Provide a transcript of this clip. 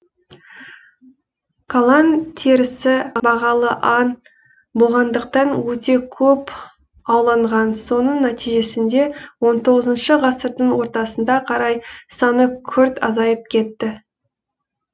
калан терісі бағалы аң болғандықтан өте көп ауланған соның нәтижесінде он тоғызыншы ғасырдың ортасына қарай саны күрт азайып кетті